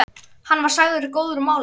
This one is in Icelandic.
Hann var sagður góður málari.